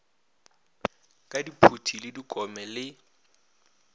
ka diphuti le dikome le